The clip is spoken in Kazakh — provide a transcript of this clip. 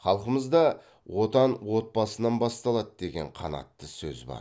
халқымызда отан отбасынан басталады деген қанатты сөз бар